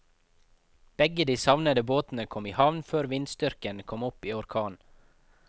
Begge de savnede båtene kom i havn før vindstyrken kom opp i orkan.